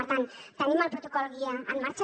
per tant tenim el protocol guia en marxa